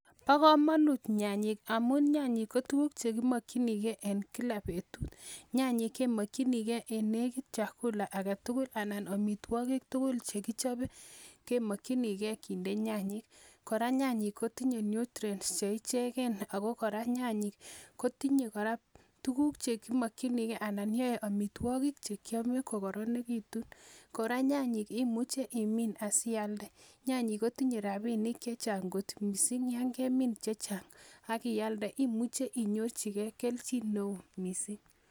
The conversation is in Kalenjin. Bo komonut nyanyik, amun nyanyik kemokchinigei en kila betut. Nyanyik kemokchinigei en chakula agetugul anan amitwogik tugul chekichobe kemokchinigei kinde nyanyiik. Koranyanyik kotinye Nutrients ,ako kora nyanyik kotinye kora tuguk chekinokyinigei anan yoe amitwogik Che kiome kokoronekitun. Korannyanyik imuche imin asialdee, nyanyik kotinye rabinik chechang kot missing. Ak yon kemin chechang ak ialdee imuche inyorchigei kelchin neon